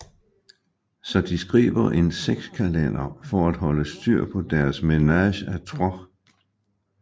Så de skriver en sexkalender for at holde styr på deres ménage à trois